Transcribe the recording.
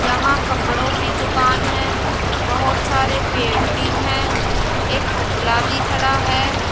यहां कपड़ों की दुकान है बहोत सारे पेड़ भी है एक पुतला भी खड़ा है।